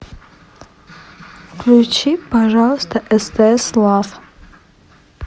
включи пожалуйста стс лав